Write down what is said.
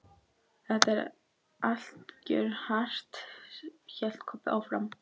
Þetta er allt grjóthart, hélt Kobbi áfram.